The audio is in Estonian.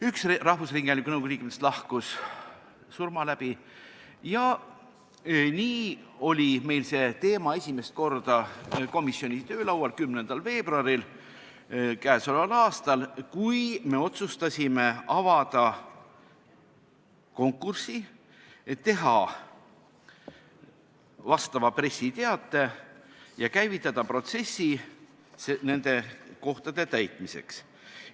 Üks rahvusringhäälingu nõukogu liikmetest lahkus surma läbi ja nii oli see teema meil esimest korda komisjoni töölaual k.a 10. veebruaril, kui me otsustasime avada konkursi, teha vastava pressiteate ja käivitada protsessi nende kohtade täitmiseks.